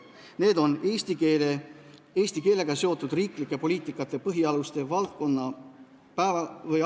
Komisjoni ülesanne on: eesti keelega seotud riiklike poliitikate põhialuste, valdkonna